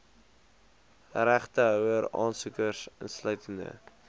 regtehouer aansoekers insluitende